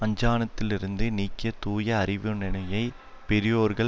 அஞ்ஞானத்திலிருந்து நீங்கிய தூய அறிவினையுடைய பெரியோர்கள்